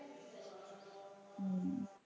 હમ